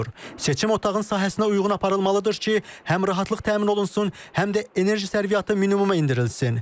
Seçim otağın sahəsinə uyğun aparılmalıdır ki, həm rahatlıq təmin olunsun, həm də enerji sərfiyyatı minimuma endirilsin.